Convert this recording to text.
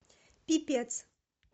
пипец